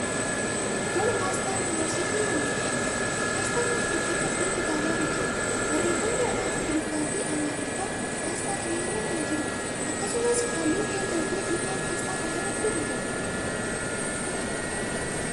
Kuni aasxaa yuunivarsiitii Wallaggaati. Aasxaa kana gidduu fakkiin kitaabaa ni jira. Barreeffamni afaan Ingiliffaa fi Amaariffaa aasxaa kana irra kan jiruudha. Akkasumas, haalluu keelloo fi diiman aasxaa kana irratti ni jiru.